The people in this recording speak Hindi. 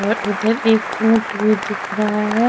और उधर एक ऊंट भी दिख रहा है।